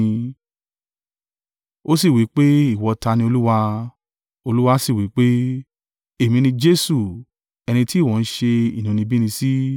Ó sì wí pé, “Ìwọ ta ni, Olúwa?” Olúwa sì wí fún pé, “Èmi ni Jesu, ẹni ti ìwọ ń ṣe inúnibíni sí.